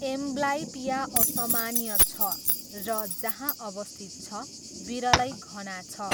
Amblyopia असामान्य छ र, जहाँ अवस्थित छ, विरलै घना छ।